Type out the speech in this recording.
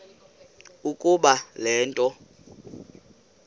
ukuba le nto